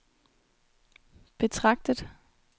betragtet